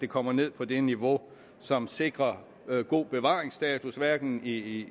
kommer ned på det niveau som sikrer god bevaringsstatus hverken i